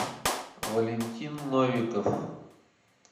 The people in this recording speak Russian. валентин новиков